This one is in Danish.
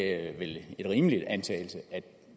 er vel en rimelig antagelse at